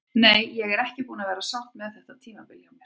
Nei, ég er ekki búin að vera sátt með þetta tímabil hjá mér.